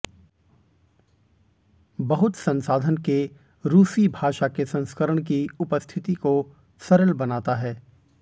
बहुत संसाधन के रूसी भाषा के संस्करण की उपस्थिति को सरल बनाता है